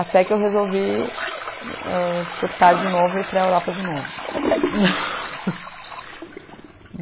Até que eu resolvi ãh, surtar de novo e ir para a Europa de novo.